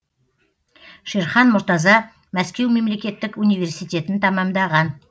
шерхан мұртаза мәскеу мемлекеттік университетін тәмамдаған